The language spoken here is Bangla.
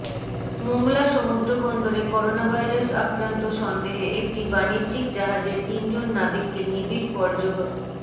মোংলা সমুদ্র বন্দরে করোনাভাইরাস আক্রান্ত সন্দেহে একটি বাণিজ্যিক জাহাজের তিনজন নাবিককে নিবিড় পর্যব